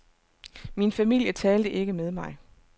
Min familie talte ikke med mig.